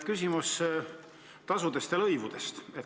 Küsimus tasude ja lõivude kohta.